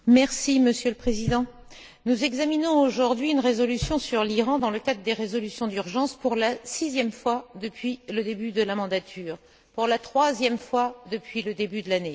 Monsieur le Président, nous examinons aujourd'hui une résolution sur l'Iran dans le cadre des résolutions d'urgence pour la sixième fois depuis le début de la législature et pour la troisième fois depuis le début de l'année.